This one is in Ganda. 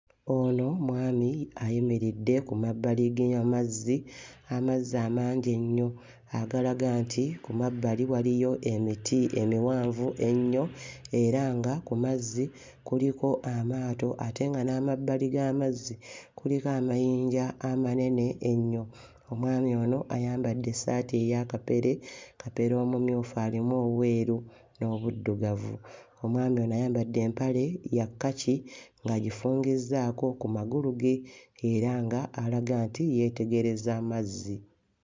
Ono mwami ayimiridde ku mabbali ge amazzi, amazzi amangi ennyo agalaga nti ku mabbali waliyo emiti emiwanvu ennyo era nga ku mazzi kuliko amaato ate nga n'amabbali g'amazzi kuliko amayinja amanene ennyo. Omwami ono ayambadde essaati eya kapere, kapere omumyufu alimu obweru n'obuddugavu. Omwami ono ayambadde empale ya kkaki ng'agifungizzaako ku magulu ge era nga alaga nti yeetegereza amazzi.